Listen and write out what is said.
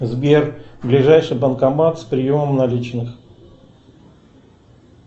сбер ближайший банкомат с приемом наличных